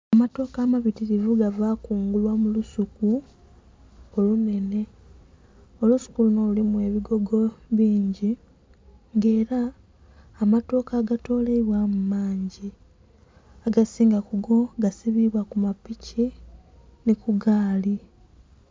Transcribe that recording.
Amatooke amabitirivu bava kungula mulusuku olunhenhe, olusuku luno lulimu ebigogo bingi nga era amatooke agatoleibwamu mangi, agasinga kugo gasibibwa kupiki ni kugaali.